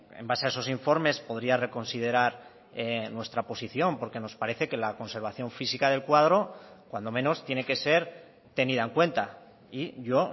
en base a esos informes podría reconsiderar nuestra posición porque nos parece que la conservación física del cuadro cuando menos tiene que ser tenida en cuenta y yo